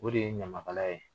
O de ye ɲamakalaya ye.